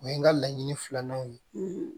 O ye n ka laɲini filananw ye